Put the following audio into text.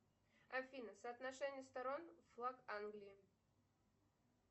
афина соотношение сторон флаг англии